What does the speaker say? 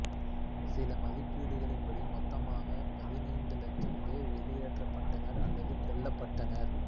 சில மதிப்பீடுகளின்படி மொத்தமாக பதினைந்து லட்சம் பேர் வெளியேற்றப்பட்டனர் அல்லது கொல்லப்பட்டனர்